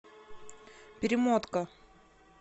перемотка